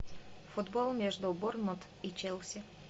футбол между борнмут и челси